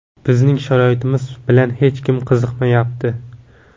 Bizning sharoitimiz bilan hech kim qiziqmayapti.